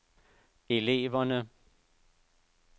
eleverne